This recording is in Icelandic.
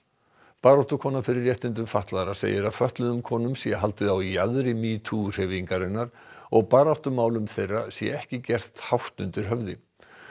baráttukona fyrir réttindum fatlaðra segir að fötluðum konum sé haldið á jaðri metoo hreyfingarinnar og baráttumálum þeirra sé ekki gert hátt undir höfði